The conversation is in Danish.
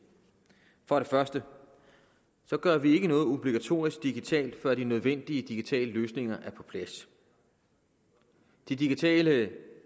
for det første gør vi ikke noget obligatorisk digitalt før de nødvendige digitale løsninger er på plads de digitale